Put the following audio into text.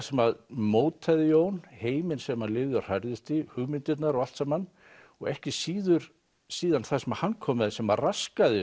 sem mótaði Jón heiminn sem hann lifði og hrærðist í hugmyndirnar og allt saman og ekki síður síður það sem hann kom með sem raskaði